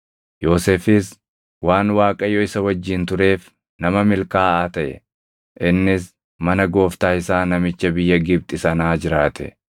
Yoosefis waan Waaqayyo isa wajjin tureef nama milkaaʼaa taʼe; innis mana gooftaa isaa namicha biyya Gibxi sanaa jiraate.